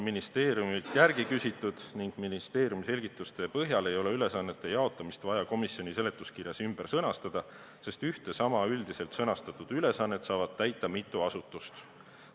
Ministeeriumilt on selle kohta küsitud ning ministeeriumi selgituste põhjal ei ole ülesannete jaotamist vaja komisjoni seletuskirjas ümber sõnastada, sest ühte ja sama üldiselt sõnastatud ülesannet saavad täita mitu asutust.